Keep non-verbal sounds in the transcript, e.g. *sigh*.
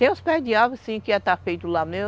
Tem os pés de árvore, sim, que ia estar feito lá *unintelligible*